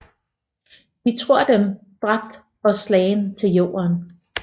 De tror Dem dræbt og slagen til Jorden